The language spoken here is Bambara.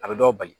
A bɛ dɔw bali